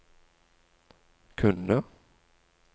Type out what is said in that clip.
kunne